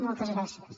moltes gràcies